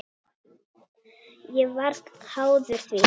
Ég varð háður því.